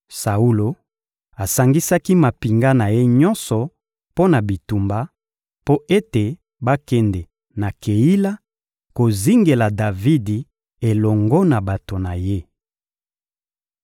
Saulo asangisaki mampinga na ye nyonso mpo na bitumba, mpo ete bakende na Keila kozingela Davidi elongo na bato na ye.